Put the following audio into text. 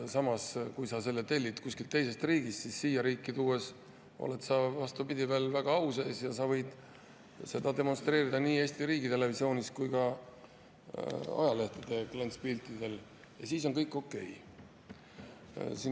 Aga kui sa tellid kuskilt teisest riigist, siis siia riiki tuues oled sa, vastupidi, au sees ja sa võid seda demonstreerida nii Eesti riigitelevisioonis kui ka ajalehtede klantspiltidel ja siis on kõik okei.